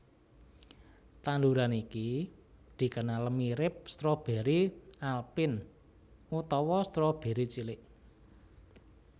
Tanduran iki dikenal mirip stroberi alpin utawa stroberi cilik